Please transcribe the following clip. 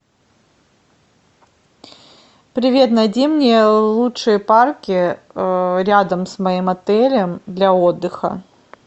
привет найди мне лучшие парки рядом с моим отелем для отдыха